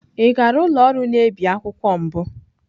Ị gara ụlọ ọrụ na-ebi akwụkwọ mbụ?